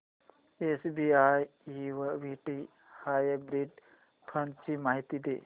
SBI equity hybrid fund ची माहिती दे